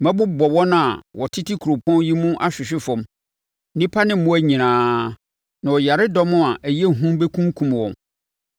Mɛbobɔ wɔn a wɔtete kuropɔn yi mu ahwehwe fam; nnipa ne mmoa nyinaa, na ɔyaredɔm a ɛyɛ hu bɛkunkum wɔn.